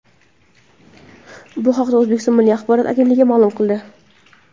Bu haqda O‘zbekiston Milliy axborot agentligi ma’lum qildi .